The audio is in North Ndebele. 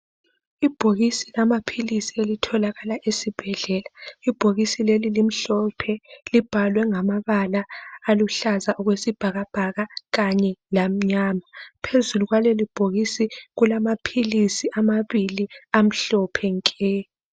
Ibhokisi lamaphilisi elitholakala esibhedlela ibhokisi leli limhlophe libhalwe ngamabala aluhlaza okwesibhakabhaka kanye lamnyama phezulu kwaleli bhokisi kulamaphilisi amabili amhlophe nke.